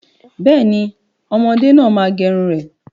Bẹ́ẹ̀ni, ọmọdé náà má gẹrun rẹ̀